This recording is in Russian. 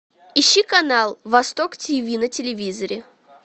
ищи канал восток тв на телевизоре